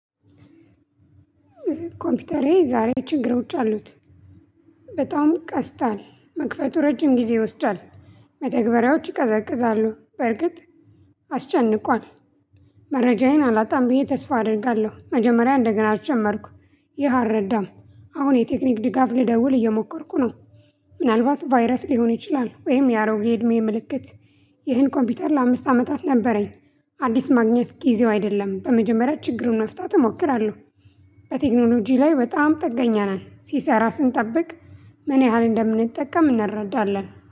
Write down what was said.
ኮምፒውተሬ ዛሬ ችግሮች አሉት። በጣም ቀስታል መክፈቱ ረጅም ጊዜ ይወስዳል። መተግበሪያዎች ይቀዘቅዛሉ። በርግጥ አስጨንቋል። መረጃዬን አላጣም ብዬ ተስፋ አደርጋለሁ። መጀመሪያ እንደገና አልጀመርኩ። ይህ አልረዳም። አሁን የቴክኒክ ድጋፍ ልደውል እየሞከርኩ ነው። ምናልባት ቫይረስ ሊሆን ይችላል። ወይም የአሮጌ እድሜ ምልክት። ይህን ኮምፒውተር ለአምስት አመታት ነበረኝ። አዲስ ማግኘት ጊዜው አይደለም በመጀመሪያ ችግሩን መፍታት እሞክራለሁ። በቴክኖሎጂ ላይ በጣም ጥገኛ ነን ሲሰራ ስንጠብቅ ምን ያህል እንደምንጠቀም እናረዳለን